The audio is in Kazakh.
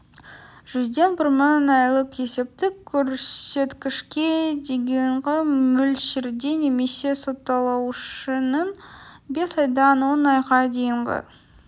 жүзден бір мың айлық есептік көрсеткішке дейінгі мөлшерде немесе сотталушының бес айдан он айға дейінгі